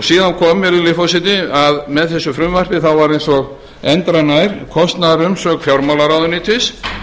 síðan kom virðulegi forseti að með þessu frumvarpi var eins og endranær kostnaðarumsögn fjármálaráðuneytis